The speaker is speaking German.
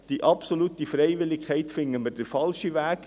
Die absolute Freiwilligkeit erachten wir als falschen Weg.